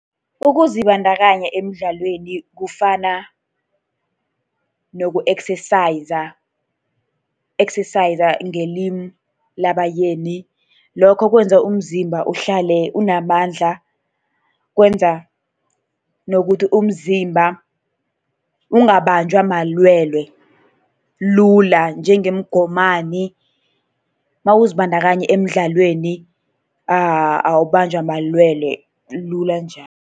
Ukuzibandakanya emdlalweni kufana noku-exercise, exercise ngelimi labaYeni. Lokho kwenza umzimba uhlale unamandla, kwenza nokuthi umzimba ungabanjwa malwele lula njengomgomani. Nawuzibandakanya emidlalweni awubanjwa malwele lula njalo.